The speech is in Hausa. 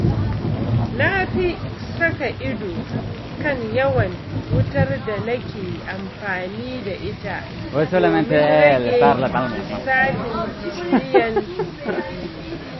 Na fi saka ido kan yawan wutar da nake amfani da ita domin rage lissafin biyan kuɗi.